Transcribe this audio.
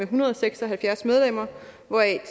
hundrede og seks og halvfjerds medlemmer hvoraf